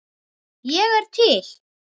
Ég er til